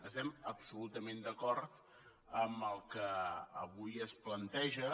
estem absolutament d’acord amb el que avui es planteja